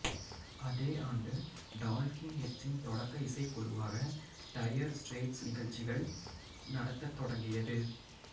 அதே ஆண்டு டால்க்கிங் ஹெட்ஸின் தொடக்க இசைக்குழுவாக டயர் ஸ்ட்ரெய்ட்ஸ் நிகழ்ச்சிகள் நடத்தத் தொடங்கியது